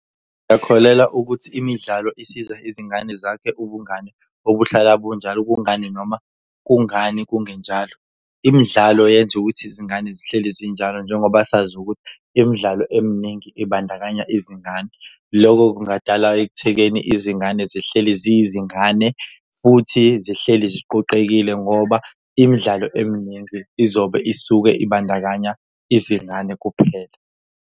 Uyakholelwa ukuthi imidlalo isiza izingane zakhe ubungane obuhlala bunjalo? Kungani noma kungani kungenjalo? Imidlalo yenza ukuthi izingane zihleli zinjalo njengoba sazi ukuthi imidlalo eminingi ibandakanya izingane. Lokho kungadala ekuthekeni izingane zihleli ziyizingane, futhi zihleli ziqoqekile ngoba imidlalo eminingi izobe isuke ibandakanya izingane kuphela.